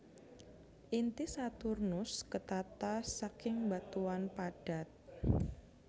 Inti Saturnus ketata saking batuan padat